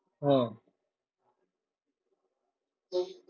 হম